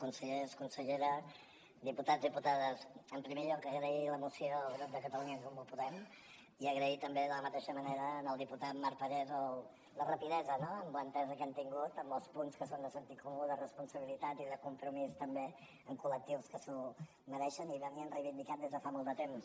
consellers consellera diputats diputades en primer lloc agrair la moció al grup de catalunya en comú podem i agrair també de la mateixa manera al diputat marc parés la rapidesa no en l’entesa que hem tingut en els punts que són de sentit comú de responsabilitat i de compromís també amb col·lectius que s’ho mereixen i ho reivindicaven des de fa molt de temps